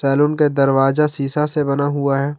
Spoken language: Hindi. सैलून के दरवाजा शीशा से बना हुआ है।